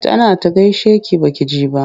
Tana ta gaishe ki ba ki ji ba.